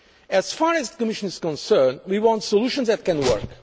of the sensitivity of this issue. As far as the Commission is concerned,